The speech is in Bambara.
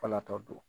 Falatɔ don